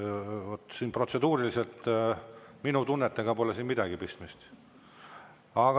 Vaat protseduuriliselt minu tunnetega pole siin midagi pistmist.